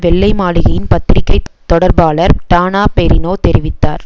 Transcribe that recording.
வெள்ளை மாளிகையின் பத்திரிக்கை தொடர்பாளர் டானா பெரினோ தெரிவித்தார்